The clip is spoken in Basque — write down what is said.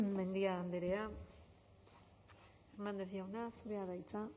mendia andrea hernández jauna zurea da hitza